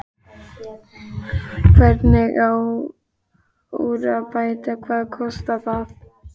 Hvernig á úr að bæta og hvað kostar það?